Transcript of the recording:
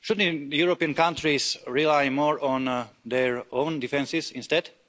Shouldn't European countries rely more on their own defences instead?